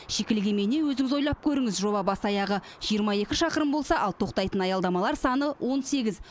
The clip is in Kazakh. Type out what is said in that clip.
шикілік емей не өзіңіз ойлап көріңіз жоба бас аяғы жиырма екі шақырым болса ал тоқтайтын аялдамалар саны он сегіз